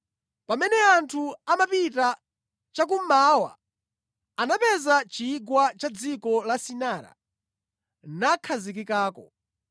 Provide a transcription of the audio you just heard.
Pamene anthu amapita chakummawa anapeza chigwa ku dziko la Sinara nakhazikikako.